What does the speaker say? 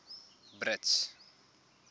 brits